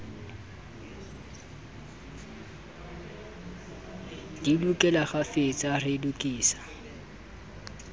di lekole kgafetsa re lokise